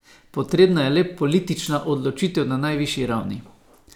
Potrebna je le politična odločitev na najvišji ravni.